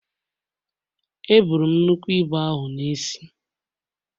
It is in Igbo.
Eburu m nnukwu ibu ahụ n’isi